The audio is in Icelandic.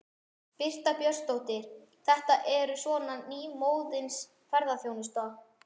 Birta Björnsdóttir: Þetta er svona nýmóðins ferðaþjónusta?